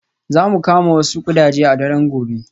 Za mu kama wasu ƙudaje a daren gobe.